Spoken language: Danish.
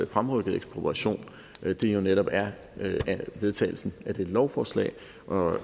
fremrykket ekspropriation jo netop er vedtagelsen af dette lovforslag